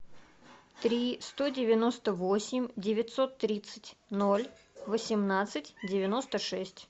три сто девяносто восемь девятьсот тридцать ноль восемнадцать девяносто шесть